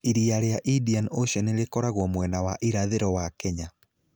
Iria rĩa Indian Ocean rĩkoragwo mwena wa irathĩro wa Kenya.